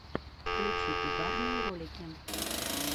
включи угарные ролики